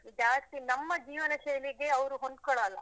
ಜಾಸ್ತಿ ನಮ್ಮ ಜೀವನ ಶೈಲಿಗೆ ಅವ್ರು ಹೊಂದ್ಕೊಳಲ್ಲ.